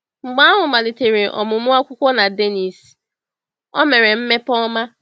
Mgbe ahụ, malitere ọmụmụ akwụkwọ na Dénnís, o mere mmepe ọma.